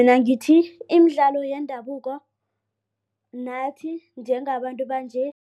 Mina ngithi imidlalo yendabuko nathi njengabantu banje.